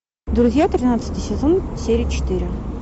друзья тринадцатый сезон серия четыре